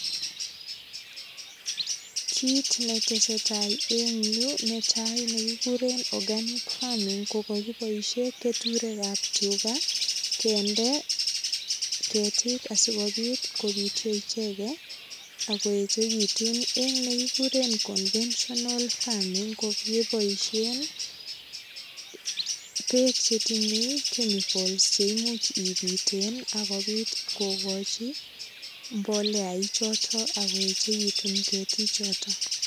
Kit neteseta en yu netai konekikuren organic farming, kokakiboisie keturek ab tuga kende ketiik asigopit kopityo icheget ago echekitun. En nekikuren conventional farming ko kebosien beek che tinye chemicals cheimuch ipiten agopit kogochi mbolea ichoto ak koechegitu ketiichoto.